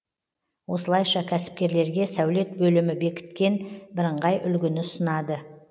осылайша кәсіпкерлерге сәулет бөлімі бекіткен бірыңғай үлгіні ұсынады